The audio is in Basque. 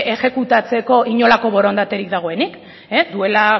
exekutatzeko inolako borondaterik dagoenik duela